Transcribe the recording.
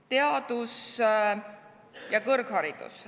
Teadus ja kõrgharidus.